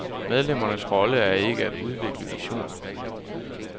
Medlemmernes rolle er ikke at udvikle visioner.